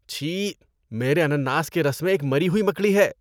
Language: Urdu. چھی! میرے انناس کے رس میں ایک مری ہوئی مکڑی ہے۔